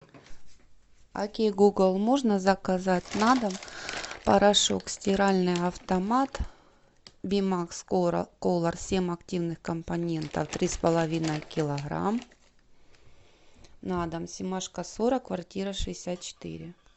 о кей гугл можно заказать на дом порошок стиральный автомат бимакс колор семь активных компонентов три с половиной килограмма на дом семашко сорок квартира шестьдесят четыре